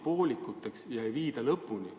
Tööd jäävad poolikuks, neid ei viida lõpuni.